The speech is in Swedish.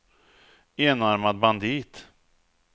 enarmad bandit